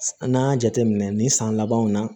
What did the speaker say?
An' ŋ'a jateminɛ nin san labanw na